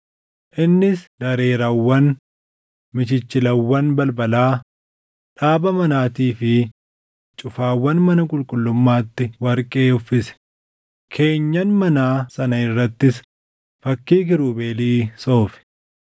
Innis dareeraawwan, michichilawwan balbalaa, dhaaba manaatii fi cufaawwan mana qulqullummaatti warqee uffise; keenyan manaa sana irrattis fakkii Kiirubeelii soofe.